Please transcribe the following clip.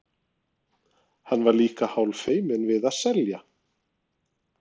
Hann var líka hálffeiminn við að selja.